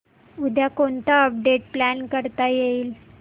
उद्या कोणतं update plan करता येईल